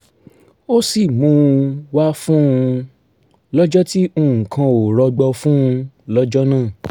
ó sì mú un wá fún un lọ́jọ́ tí nǹkan ò rọgbọ fún un lọ́jọ́ náà